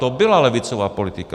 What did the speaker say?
To byla levicová politika.